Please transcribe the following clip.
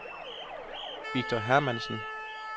Victor Hermansen